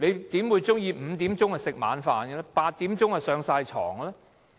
誰會喜歡5時吃晚飯 ，8 時便要上床睡覺呢？